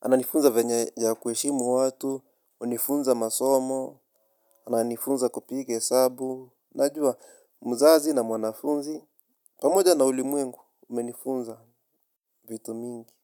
ananifunza venye ya kuheshimu watu, hunifunza masomo, ananifunza kupiga hesabu. Najua mzazi na mwanafunzi, pamoja na ulimwengu, umenifunza vitu mingi.